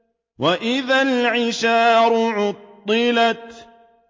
وَإِذَا الْعِشَارُ عُطِّلَتْ